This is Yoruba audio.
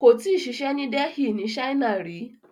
Kó tíì ṣiṣę ni Delhi ni China rí ni.